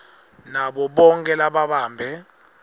nabo bonkhe lababambe